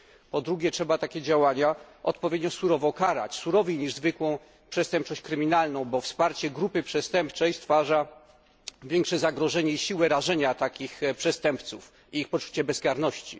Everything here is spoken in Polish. Po drugie, trzeba takie działania odpowiednio surowo karać, surowiej niż zwykłą przestępczość kryminalną, bo wsparcie grupy przestępczej stwarza większe zagrożenie i siłę rażenia takich przestępców oraz ich poczucie bezkarności.